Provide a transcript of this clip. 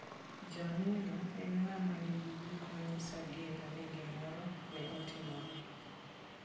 Janeno en ng'ama nigi gik manyiso gadier ni gimoro ne otimore.